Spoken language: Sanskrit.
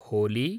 होली